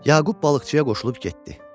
Yaqub balıqçıya qoşulub getdi.